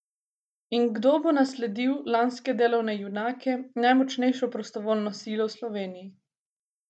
In kdo bo nasledil lanske Delove junake, najmočnejšo prostovoljno silo v Sloveniji?